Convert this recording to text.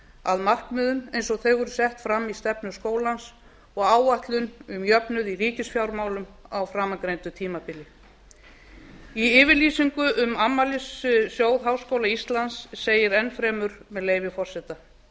að markmiðum eins og þau eru sett fram í stefnu skólans og áætlun um jöfnuð í ríkisfjármálum á framangreindu tímabili í yfirlýsingu um afmælissjóð háskóla íslands segir enn fremur með leyfi forseta